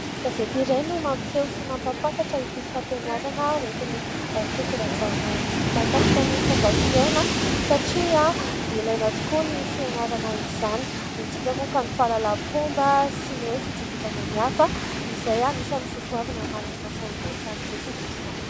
Gazety iray no mampiseho sy mampafantatra ity fampianarana oetin'ny Toky Rajaona ity makasika ny fomba fiaina satria ilaina tokoa ny fianarana izany indrindra moa fa ny fahalalampomba sy ny hoe fitsinjovana ny hafa izay anisany soatoavina malagasy ihany koa izany rehetra rehetra izany.